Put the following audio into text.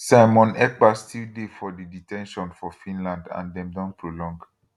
simon ekpa still dey for di de ten tion for finland and dem don prolong